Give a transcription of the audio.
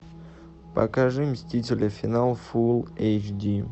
покажи мстители финал фул эйч ди